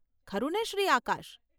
ખરુને Shri Akash?